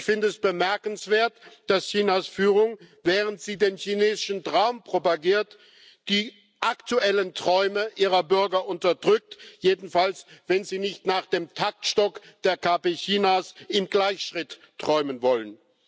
Ich finde es bemerkenswert, dass Chinas Führung, während sie den chinesischen Traum propagiert, die aktuellen Träume ihrer Bürger unterdrückt, jedenfalls dann, wenn sie nicht nach dem Taktstock der KP Chinas im Gleichschritt träumen wollen.